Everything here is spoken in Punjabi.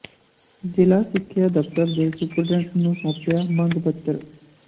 ਜਿਲ੍ਹਾ ਸਿੱਖਿਆ ਦਫ਼ਤਰ ਦੇ ਸੁਪਰਡੈਂਟ ਨੂੰ ਸੌਂਪਿਆ ਮੰਗ ਪੱਤਰ